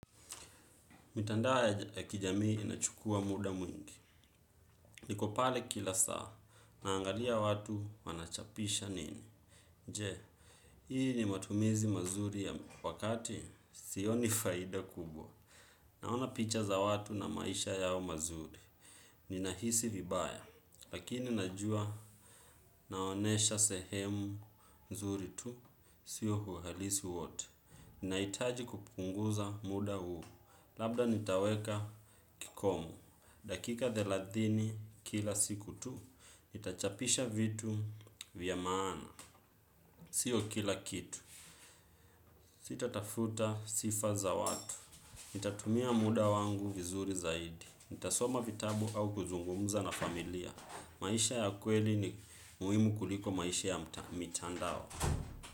Mitandao ya kijamii inachukua muda mwingi. Niko pale kila saa, naangalia watu wanachapisha nini. Je, hii ni matumizi mazuri ya wakati, sioni faida kubwa. Naona picha za watu na maisha yao mazuri. Ninahisi vibaya, lakini najua naonyesha sehemu nzuri tu, sio uhalisi wote. Ninahitaji kupunguza muda huu, labda nitaweka kikomo. Dakika thelathini kila siku tu, nitachapisha vitu vya maana. Sio kila kitu. Sitatafuta sifa za watu. Itatumia muda wangu vizuri zaidi. Nitasoma vitabu au kuzungumuza na familia. Maisha ya kweli ni muhimu kuliko maisha ya mitandao.